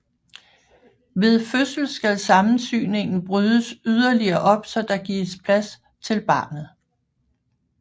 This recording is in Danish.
Ved fødsel skal sammensyningen brydes yderligere op så der gives plads til barnet